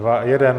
Dva. Jeden.